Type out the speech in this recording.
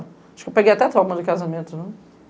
Acho que eu peguei até trauma de casamento, né?